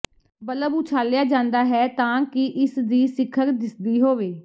bulb ਉਛਾਲਿਆ ਜਾਂਦਾ ਹੈ ਤਾਂ ਕਿ ਇਸ ਦੀ ਸਿਖਰ ਦਿਸਦੀ ਹੋਵੇ